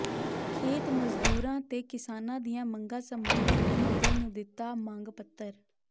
ਖੇਤ ਮਜ਼ਦੂਰਾਂ ਤੇ ਕਿਸਾਨਾਂ ਦੀਆਂ ਮੰਗਾਂ ਸਬੰਧੀ ਮੁੱਖ ਮੰਤਰੀ ਨੂੰ ਦਿਤਾ ਮੰਗ ਪੱਤਰ